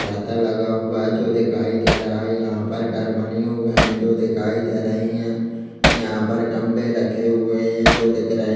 छाता लगा हुआ है जो दिखाई दे रहा है यहाँ पर घर बने हुए है जो दिखाई दे रहे है यहाँ पर गमले रखे हुए है जो दिख रहे है।